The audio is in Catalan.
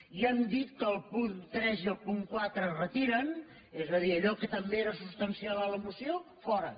ja han dit que el punt tres i el punt quatre es retiren és a dir allò que també era substancial en la moció fora